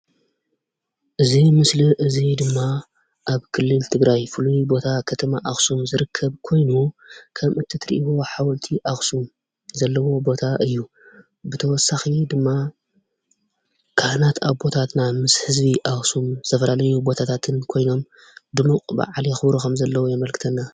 እዚ ምስሊ እዚ ድማ ኣብ ክልል ትግራይ ፍሉይ ቦታ ከተማ ኣኽሱም ዝርከብ ኮይኑ ከም እትትርእይዎ ሓወልቲ ኣኽሱም ዘለዎ ቦታ እዩ። ብተወሳኺ ድማ ካህናት ኣቦታትና ምስ ህዝቢ ኣኽሱም ኣብ ዝተፈላለየ ቦታታትን ኮይኖም ዱሙቕ በዓል የኽብሩ ከም ዘለዉ የመልክተና።